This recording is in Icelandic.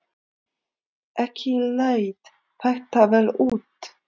Ekki leit þetta vel út.